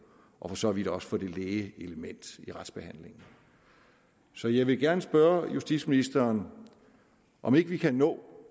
og for så vidt også for det læge element i retsbehandling så jeg vil gerne spørge justitsministeren om ikke vi kan nå